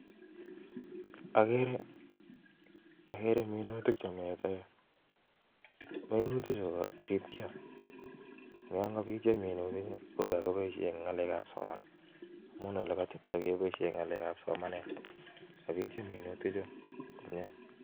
Ageree minutik chemii yuuu. Kipoishen eng ngalek ab somanet